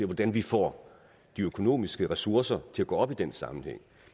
hvordan vi får de økonomiske ressourcer til at gå op i den sammenhæng